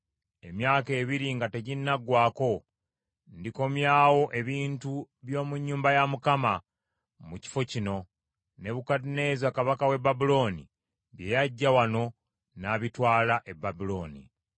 Emyaka ebiri nga teginnaggwaako, ndikomyawo ebintu by’omu nnyumba ya Mukama mu kifo kino, Nebukadduneeza kabaka w’e Babulooni bye yaggya wano n’abitwala e Babulooni.